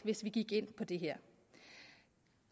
hvis vi gik ind på det her